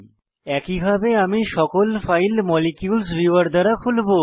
একইভাবে আমি সকল ফাইল মলিকিউলস ভিউয়ার দ্বারা খুলবো